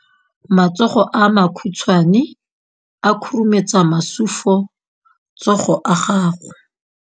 Matsogo a makhutshwane a khurumetsa masufutsogo a gago.